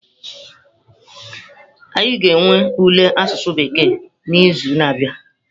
Anyị ga-enwe ule asụsụ Bekee n'izu na-abịa.